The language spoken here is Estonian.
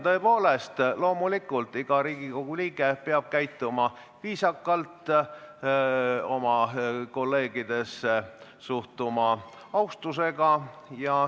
Tõepoolest, loomulikult, iga Riigikogu liige peab käituma viisakalt, suhtuma oma kolleegidesse austusega.